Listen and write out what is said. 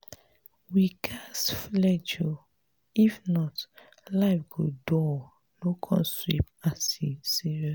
we ghas flenjo if not life go dull no come sweet as e serious.